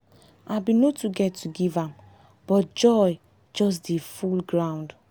i been no too get to give to give am but joy just dey full groud